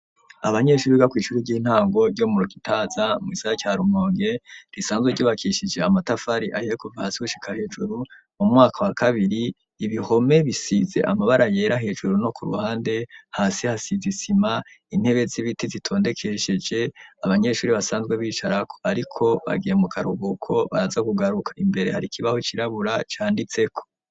Abanyeshuri biga kw'ishuri ry'intango ryo mu Gitaza mugisagara ca Rumonge, risanzwe ryubakishije amatafari ahiye kuva hasi gushika hejuru, mu mwaka wa kabiri, ibihome bisize amabara yera hejuru no kuruhande, hasi hasize isima, intebe z'ibiti zitondekesheje abanyeshuri basanzwe bicarako, ariko bagiye mu karuhuko baraza kugaruka, imbere har'ikibaho cirabura canditseko.